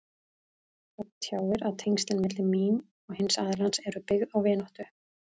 Það tjáir að tengslin milli mín og hins aðilans eru byggð á vináttu.